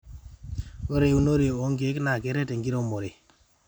ore eunore o nkeek naa keret enkiremore